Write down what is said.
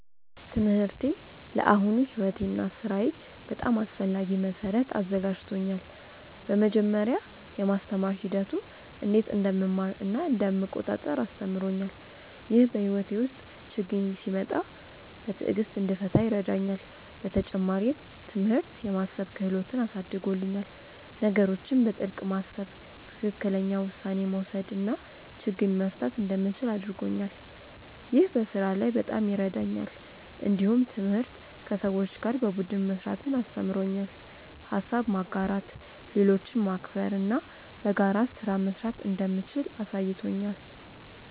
ትምህርቴ ለአሁኑ ሕይወቴ እና ሥራዬ በጣም አስፈላጊ መሠረት አዘጋጅቶኛል። በመጀመሪያ፣ የማስተማር ሂደቱ እንዴት እንደምማር እና እንደምቆጣጠር አስተምሮኛል። ይህ በሕይወቴ ውስጥ ችግኝ ሲመጣ በትዕግሥት እንድፈታ ይረዳኛል። በተጨማሪም፣ ትምህርት የማሰብ ክህሎትን አሳድጎልኛል። ነገሮችን በጥልቅ ማሰብ፣ ትክክለኛ ውሳኔ መውሰድ እና ችግኝ መፍታት እንደምችል አድርጎኛል። ይህ በስራ ላይ በጣም ይረዳኛል። እንዲሁም ትምህርት ከሰዎች ጋር በቡድን መስራትን አስተምሮኛል። ሀሳብ ማጋራት፣ ሌሎችን ማክበር እና በጋራ ስራ መስራት እንደምችል አሳይቶኛል።